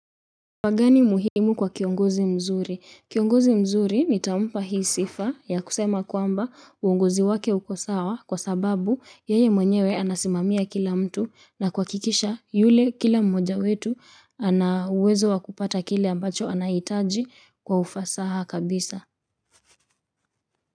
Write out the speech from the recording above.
Wagani muhimu kwa kiongozi mzuri? Kiongozi mzuri nitampa hii sifa ya kusema kwamba uongozi wake uko sawa kwa sababu yeye mwenyewe anasimamia kila mtu na kuhakikisha yule kila mmoja wetu ana uwezo wa kupata kile ambacho anahitaji kwa ufasaha kabisa.